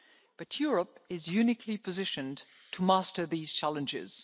But Europe is uniquely positioned to master these challenges.